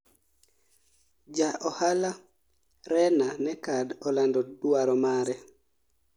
ja ohala Rena Nekkad olando dwaro mare